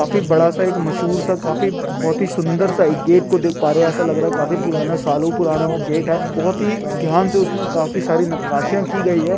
काफी बड़ासा एक मशहूर सा काफी बहुत ही सुंदर सा एक गेट को देख पा रहे हो एसा लग रहा है काफी पुराना सालों पुराना वो गेट है बहुत ही ध्यान से उसमे काफी सारी नक्काशीया की गई है।